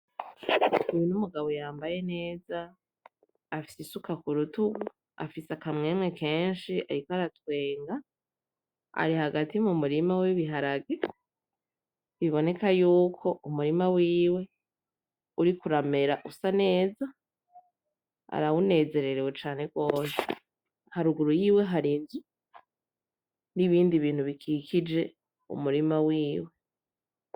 Uyu n'umugabo yambaye neza afise isuka kurutugu afise akamwemwe kenshi ariko aratwenga ari hagati mu murima w'ibiharage biboneka yuko umurima wiwe uriko uramera usa neza arawunezererewe cane gose haruguru yiwe hari inzu n'ibindi bintu bikikije umurima wiwe.